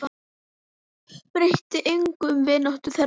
Breytti engu um vináttu þeirra.